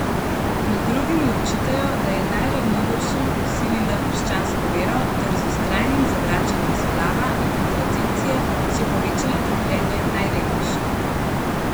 Med drugim ji očitajo, da je najranljivejšim vsilila krščansko vero ter z vztrajnim zavračanjem splava in kontracepcije še povečala trpljenje najrevnejših.